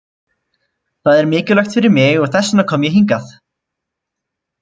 Það er mikilvægt fyrir mig og þess vegna kom ég hingað.